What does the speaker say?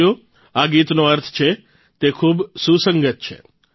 સાથીઓ આ ગીતનો અર્થ છે તે ખૂબ સુસંગત છે